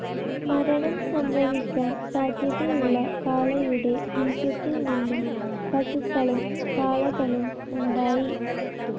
മരണം സംഭവിക്കാൻ സാധ്യതയുളള കാളയുടെ ബീജത്തിൽ നിന്നും പശുക്കളും കാളകളും ഉണ്ടായി.